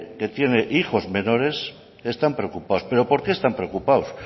que tiene hijos menores están preocupados pero por qué están preocupados